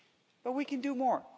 But we can do more.